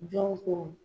Jɔn ko